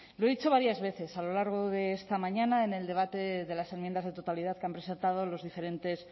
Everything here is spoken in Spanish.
lo he dicho varias veces a lo largo de esta mañana en el debate de las enmiendas de totalidad que han presentado los diferentes